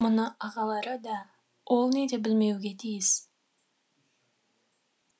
мұны ағалары да олни де білмеуге тиіс